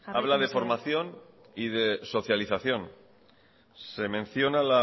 habla de formación y de socialización se menciona